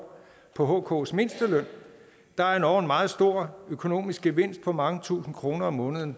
på hks mindsteløn der er endog en meget stor økonomisk gevinst på mange tusinde kroner om måneden